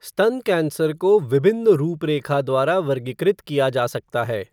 स्तन कैंसर को विभिन्न रुपरेखा द्वारा वर्गीकृत किया जा सकता है।